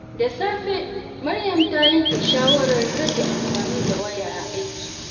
Da safe, Maryam ta yanke shawarar rage amfani da waya a aiki.